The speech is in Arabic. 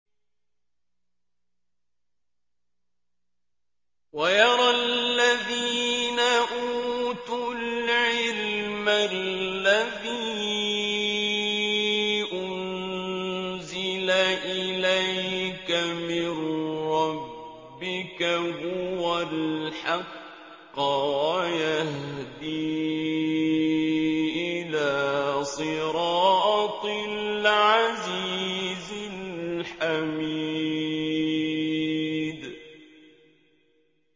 وَيَرَى الَّذِينَ أُوتُوا الْعِلْمَ الَّذِي أُنزِلَ إِلَيْكَ مِن رَّبِّكَ هُوَ الْحَقَّ وَيَهْدِي إِلَىٰ صِرَاطِ الْعَزِيزِ الْحَمِيدِ